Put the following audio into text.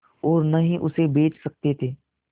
और न ही उसे बेच सकते थे